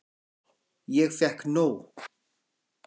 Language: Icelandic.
Ég fékk nóg.